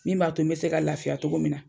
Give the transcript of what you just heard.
Min b'a to n be se ka lafiya togo min na